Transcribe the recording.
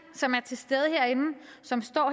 som er til stede herinde som står